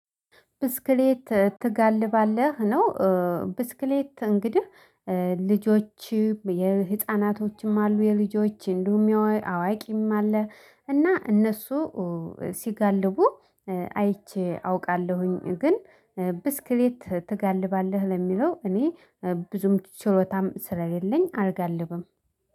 ብስክሌት ትጋልባለህ ነው። ብስክሌት እንግዲህ ልጆችም የህፃናቶችም አሉ። የልጆች አዋቂም አለ እና እነሱ ሲጋልቡ አይቼ አውቃለሁኝ። ግን ብስክሌት ትጋልባለህ ለሚለው እኔ ብዙም ችሎታም ስለሌለኝ አልጋልብም